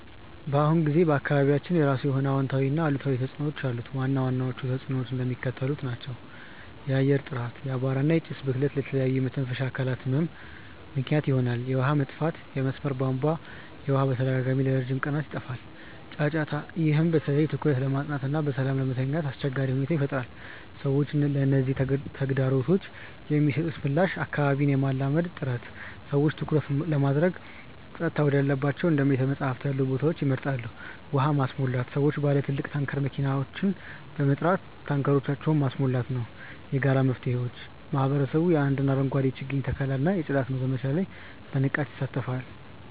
በአሁኑ ጊዜ በአካባቢያችን የራሱ የሆነ አዎንታዊና አሉታዊ ተጽዕኖዎች አሉት። ዋና ዋናዎቹ ተጽዕኖዎች እንደሚከተለው ነው፦ የአየር ጥራት፦ የአቧራ እና የጭስ ብክለት ለተለያዩ የመተንፈሻ አካላት ህመም ምክንያት ይሆናል። የውሃ መጥፋት፦ የመስመር የቧንቧ ውሃ በተደጋጋሚና ለረጅም ቀናት ይጠፋል። ጫጫታ፦ ይህ በተለይ በትኩረት ለማጥናትና በሰላም ለመተኛት አስቸጋሪ ሁኔታን ይፈጥራል። ሰዎች ለነዚህ ተግዳሮቶች የሚሰጡት ምላሽ አካባቢን የማላመድ ጥረት፦ ሰዎች ትኩረት ለማድረግ ጸጥታ ወዳላቸው እንደ ቤተ-መጻሕፍት ያሉ ቦታዎችን ይመርጣሉ። ውሃ ማስሞላት፦ ሰዎች ባለ ትልቅ ታንከር መኪናዎችን በመጥራት ታንከሮቻቸውን ማስሞላት ነው። የጋራ መፍትሄዎች፦ ማህበረሰቡ የአረንጓዴ አሻራ የችግኝ ተከላ እና የጽዳት ዘመቻዎች ላይ በንቃት ይሳተፋል።